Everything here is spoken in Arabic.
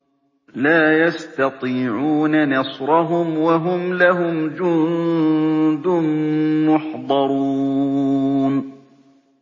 لَا يَسْتَطِيعُونَ نَصْرَهُمْ وَهُمْ لَهُمْ جُندٌ مُّحْضَرُونَ